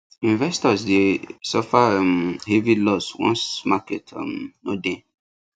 investors dey suffer um heavy loss once market um no dey